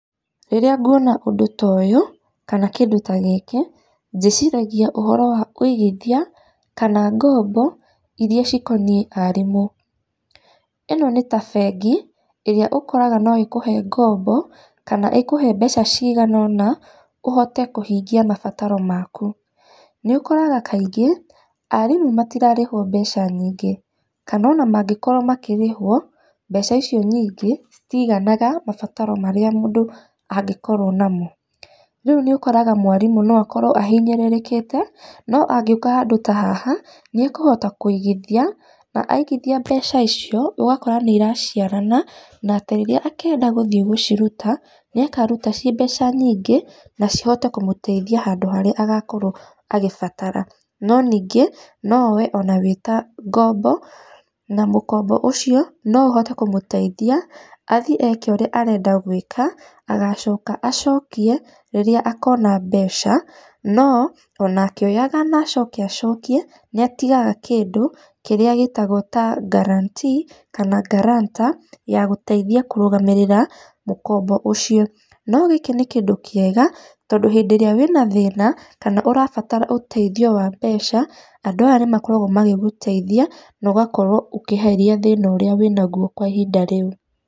Rĩrĩa nguona ũndũ ta ũyũ, kana kĩndũ ta gĩkĩ, ndĩciragia ũhoro wa kũigithia kana ngombo irĩa cikoniĩ arimũ. ĩno nĩ ta bengi ĩrĩa ũkoraga no ĩkũhe ngombo kana ĩkũhe mbeca cigana ũna ũhote kũhingia mabataro maku. Nĩ ũkoraga kaingĩ, arimũ matirarĩhwo mbeca nyingĩ kana ona mangĩkorwo makĩrĩhwo mbeca icio nyingĩ citiganaga mabataro marĩa mũndũ angĩkorwo namo. Rĩu nĩ ũkoraga mwarimũ no akorwo ahinyĩrĩrĩkĩte, no angĩũka handũ ta haha nĩ ekũhota kũigithia na aigithia mbeca icio ũgakora nĩ iraciarana. Na atĩ rĩrĩa akendga gũthiĩ gũciruta, nĩ akaruta ci mbeca nyingĩ na cihote kũmũteithia handũ harĩa agakorwo agĩbatara. No ningĩ no oe ona wĩ ta ngombo na mũkombo ũcio no ũhote kũmũteithia, athiĩ gwĩka ũrĩa arenda gwĩka, agacoka acokie rĩrĩa akona mbeca. No ona akĩoyaga na acoke acokie, nĩ atigaga kĩndũ kĩrĩa gĩtagwo ta guarantee kana guarantor ya gũteithia kũrũgamĩrĩra mũkombo ũcio. No gĩkĩ nĩ kĩndũ kĩega tondũ hĩndĩ ĩrĩa wĩna thĩna kana ũrabatara ũteithio wa mbeca, andũ aya nĩ makoragwo magĩgũteithia na ũgakorwo ũkĩeheria thĩna ũrĩa wĩnagwo kwa ihinda rĩu.